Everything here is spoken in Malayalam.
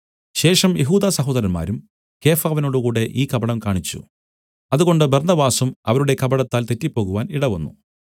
ശേഷം യെഹൂദസഹോദരന്മാരും കേഫാവിനോടുകൂടെ ഈ കപടം കാണിച്ചു അതുകൊണ്ട് ബർന്നബാസും അവരുടെ കപടത്താൽ തെറ്റിപ്പോവാൻ ഇടവന്നു